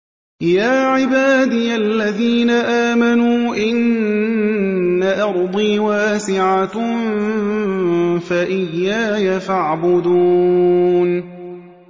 يَا عِبَادِيَ الَّذِينَ آمَنُوا إِنَّ أَرْضِي وَاسِعَةٌ فَإِيَّايَ فَاعْبُدُونِ